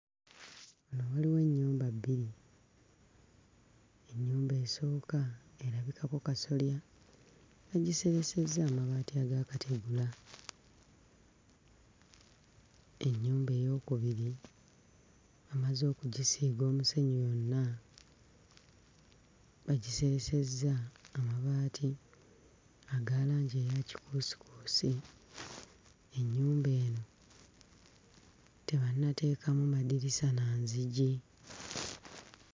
Wano waliwo ennyumba bbiri. Ennyumba esooka erabikako kasolya, bagiseresezza amabaati ag'akategula, ennyumba ey'okubiri bamaze okugisiiga omusenyu yonna, bagiseresezza amabaati aga langi eya kikuusikuusi; ennyumba eno tebannateekamu madirisa na nzigi.